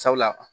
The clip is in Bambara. Sabula